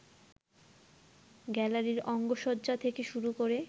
গ্যালারির অঙ্গসজ্জা থেকে শুরু করে